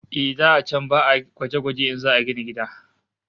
Eh, da can ba'a gwaje-gwaje in za'a gina gida